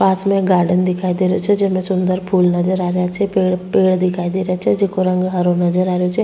पास में एक गार्डन दिखाई दे रो छे जेमे सुन्दर फूल नजर आ रेहा छे पेड़ पेड़ दिखाइ दे रा छे जेका रंग हरो नजर आ रहा छे।